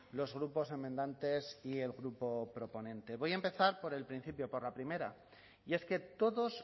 los grupos enmendantes y el grupo proponente voy a empezar por el principio por la primera y es que todos